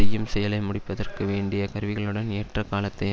செய்யும் செயலை முடிப்பதற்கு வேண்டிய கருவிகளுடன் ஏற்ற காலத்தை